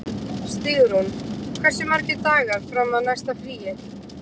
Stígrún, hversu margir dagar fram að næsta fríi?